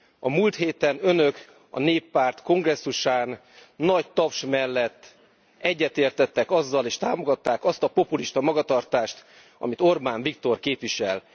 A múlt héten Önök a Néppárt kongresszusán nagy taps mellett egyetértettek azzal és támogatták azt a populista magatartást, amit Orbán Viktor képvisel.